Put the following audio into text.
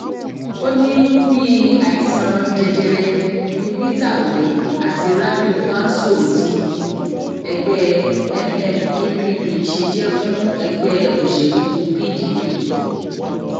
ó ní bíi àìsàn jẹjẹrẹ ni peter obi àti rabiu kwanso tí ẹgbẹ nnepp ṣe jẹ fún ẹgbẹ òṣèlú pdp